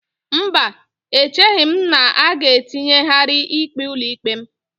Mba, echeghị m na a ga-etinyegharị ikpe ụlọikpe m.